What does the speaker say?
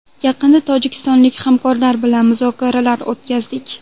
Yaqinda tojikistonlik hamkorlar bilan muzokaralar o‘tkazdik.